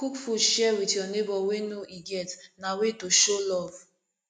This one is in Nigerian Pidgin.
cook food share wit you nebor wey no e get na way to show love